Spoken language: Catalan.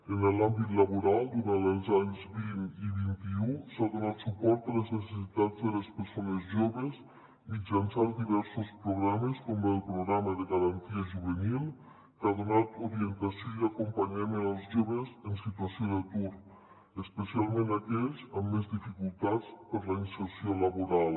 en l’àmbit laboral durant els anys vint i vint un s’ha donat suport a les necessitats de les persones joves mitjançant diversos programes com el programa garantia juve·nil que ha donat orientació i acompanyament als joves en situació d’atur especial·ment a aquells amb més dificultats per a la inserció laboral